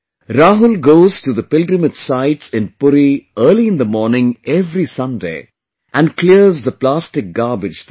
Rahul goes to the pilgrimage sites in Puri early in the morning every Sunday, and clears the plastic garbage there